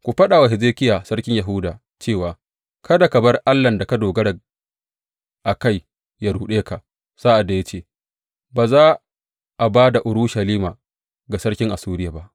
Ku faɗa wa Hezekiya sarkin Yahuda cewa kada ka bar allahn da ka dogara a kai ya ruɗe ka sa’ad da ya ce, Ba za a ba da Urushalima ga sarkin Assuriya ba.’